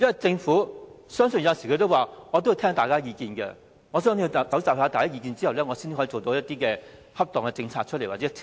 政府有時候也說要聆聽大家的意見，收集大家的意見後，才能推出恰當的政策或條例。